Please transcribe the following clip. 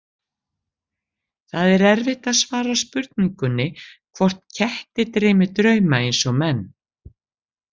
Það er erfitt að svara spurningunni hvort ketti dreymi drauma eins og menn.